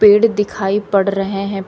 पेड़ दिखाई पड़ रहे हैं।